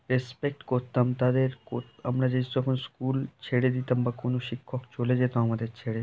respect করতাম তাদের আমরা যে সকল স্কুল ছেড়ে দিতাম বা কোন শিক্ষক চলে যেত আমাদের ছেড়ে--